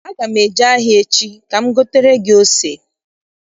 Aga m eje ahịa echi ka m gotere gị ose.